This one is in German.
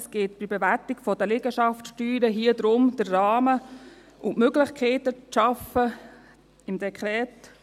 Es geht bei der Bewertung der Liegenschaftssteuer darum, den Rahmen und die Möglichkeiten im Dekret zu schaffen.